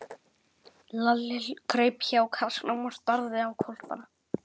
Lalli kraup hjá kassanum og starði á hvolpana.